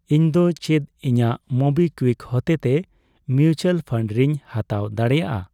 ᱤᱧᱫᱚ ᱪᱮᱫ ᱤᱧᱟᱹᱜ ᱢᱳᱵᱤᱠᱣᱤᱠ ᱦᱚᱛᱮᱛᱮ ᱢᱤᱣᱪᱟᱞ ᱯᱷᱟᱱᱰ ᱨᱮᱧ ᱦᱟᱛᱟᱣ ᱫᱟᱲᱮᱭᱟᱜᱼᱟ ?